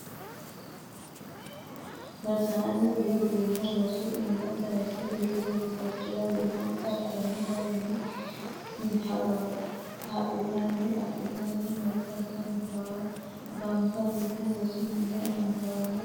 Rosaano diro du'ma rosu iima sayse diru goofimarchira gumansa koni garinni hagiidhittanni adhittano maatensa baalla gamba ytenna rosu mini annuwano hagiirunni jawaachishano ooso rosanotta.